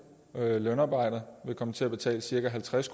lønarbejde vil komme til at betale cirka halvtreds